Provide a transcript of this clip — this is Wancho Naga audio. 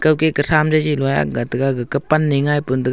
kau ke katham loi ak ga tega gakah pan ne ngai pan tega.